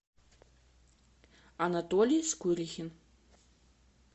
анатолий скурихин